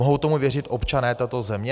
Mohou tomu věřit občané této země?